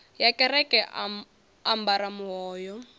ya kereke a ambara muhoyo